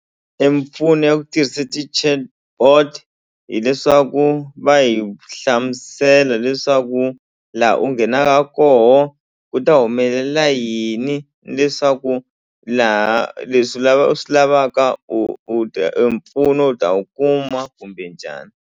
E mimpfuno ya ku tirhisa ti-chatbot hileswaku va hi hlamusela leswaku la u nghenaka koho ku ta humelela yini leswaku laha leswi u swi lavaka u u ta empfuno u ta wu kuma kumbe njhani.